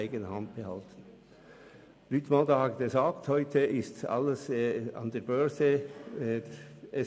Mentha hat erwähnt, dass heute alle Unternehmen an die Börse gehen.